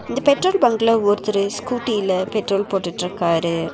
இந்த பெட்ரோல் பங்க்ல ஒருத்தரு ஸ்கூட்டில பெட்ரோல் போட்டுருக்காரு.